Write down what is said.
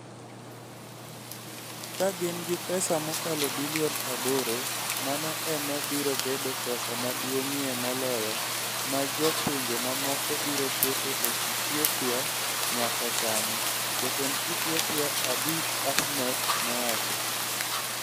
Ka gin gi pesa mokalo bilion 8, mano ema biro bedo pesa maduong'ie moloyo ma jo pinje mamoko biro keto e Ethiopia nyaka sani, Jatend Ethiopia Abiy Ahmed nowacho.